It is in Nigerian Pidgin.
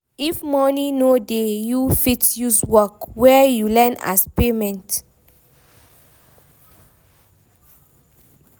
If money no dey you fit use work wey you learn as payment